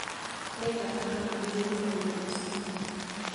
Nĩngataha maĩ gĩthima-inĩ rũciũ